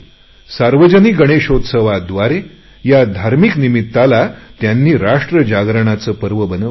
सार्वजनिक गणेशोत्सवाद्वारा या धार्मिक निमित्ताला त्यांनी राष्ट्र जागृतीचे पर्व बनवले